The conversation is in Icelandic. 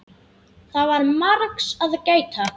Það var margs að gæta.